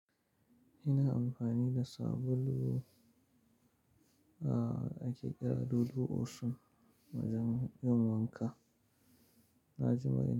Ina amfani da sabulu a ake kira dudu osun wajen yin wanka, na ji maye.